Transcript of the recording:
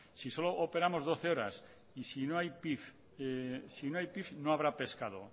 si solo operamos doce horas y si no hay pif no habrá pescado